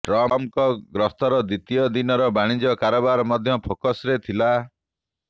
ଟ୍ରମ୍ପଙ୍କ ଗସ୍ତର ଦ୍ବିତୀୟ ଦିନର ବାଣିଜ୍ୟ କାରବାର ମଧ୍ୟ ଫୋକସ୍ରେ ଥିଲା